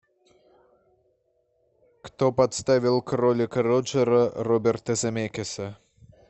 кто подставил кролика роджера роберта земекиса